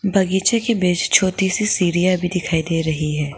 बागीचे के पेस छोटी सी सीढ़ियां भी दिखाई दे रही है।